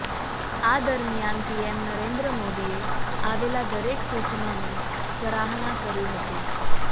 આ દરમિયાન પીએમ નરેન્દ્ર મોદીએ આવેલા દરેક સૂચનોની સરાહના કરી હતી